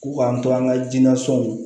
K'u k'an to an ka jinɛ sɔnw